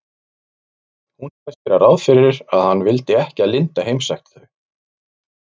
Hún sagðist gera ráð fyrir að hann vildi ekki að linda heimsækti þau.